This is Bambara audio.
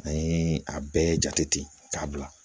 An ye a bɛɛ jate k'a bila